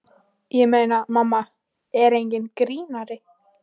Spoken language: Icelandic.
Ég meina, mamma er enginn grínari.